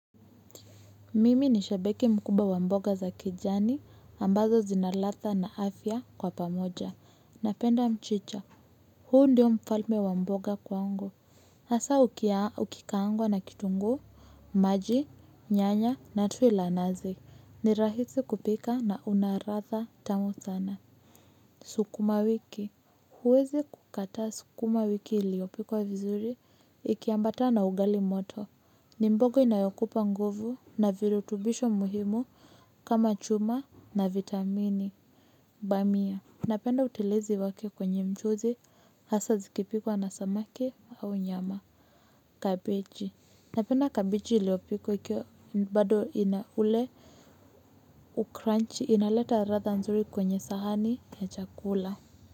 Mimi ni shabiki mkubwa wa mboga za kijani, ambazo zina ladha na afya kwa pamoja. Napenda mchicha, huu ndio mfalme wa mboga kwangu. Hasa ukikaangwa na kitunguu, maji, nyanya na tui la nazi. Ni rahisi kupika na una ladha tamu sana. Sukuma wiki. Huwezi kukataa sukuma wiki iliyopikwa vizuri, ikiambatana na ugali moto. Ni mbogo inayokupa nguvu na virutubisho muhimu kama chuma na vitamini bamiya napenda utelezi wake kwenye mchuzi hasa zikipikwa na samaki au nyama kabeji napenda kabeji iliyopikwa ikiwa bado ina ule ucrunchi inaleta ladha nzuri kwenye sahani ya chakula.